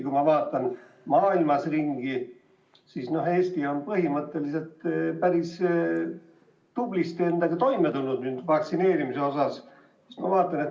Kui ma vaatan maailmas ringi, siis näen, et Eesti on põhimõtteliselt päris tublisti vaktsineerimisega toime tulnud.